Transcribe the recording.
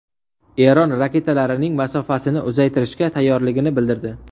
Eron raketalarining masofasini uzaytirishga tayyorligini bildirdi.